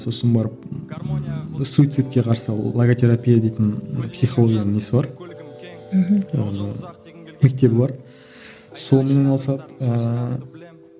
сосын барып суицидке қарсы логотерапия дейтін психологиядан несі бар мхм ііі мектебі бар